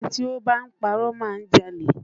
Ẹni tí ó bá ń parọ́ má a jalè